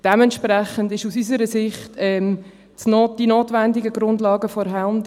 Dementsprechend sind aus unserer Sicht die notwendigen Grundlagen vorhanden.